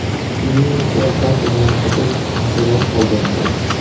Uning nutqi barchada katta taassurot qoldirdi.